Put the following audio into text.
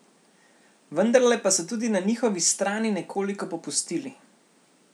Vendarle pa so tudi na njihovi strani nekoliko popustili.